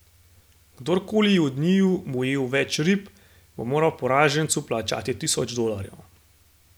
Kdorkoli od njiju bo ujel več rib, bo moral poražencu plačati tisoč dolarjev.